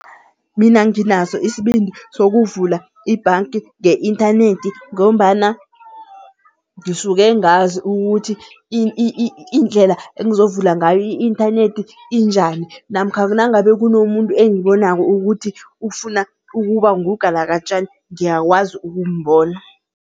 Mina nginaso isibindi sokuvula ibhanki nge-inthanethi ngombana ngisuke ngazi ukuthi indlela engizovula ngayo i-inthanethi injani. Namkha nangabe kunomuntu engibonako ukuthi ufuna ukuba ngugalakatjani ngiyakwazi ukumbona.